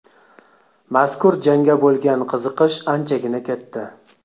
Mazkur jangga bo‘lgan qiziqish anchagina katta.